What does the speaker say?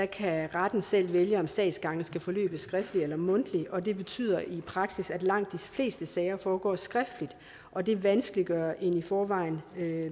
kan retten selv vælge om sagsgangene skal forløbe skriftligt eller mundtligt og det betyder i praksis at langt de fleste sager foregår skriftligt og det vanskeliggør en i forvejen